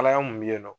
Kalaya mun be yen nɔ